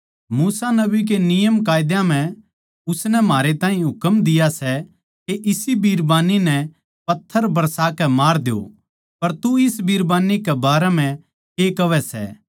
मूसा नबी के नियमकायदा म्ह मूसा नबी नै म्हारै ताहीं हुकम दिया सै के इसी बिरबान्नी नै पत्थर बरसा कै मार द्यो पर तू इस बिरबान्नी कै बारै म्ह के कहवै सै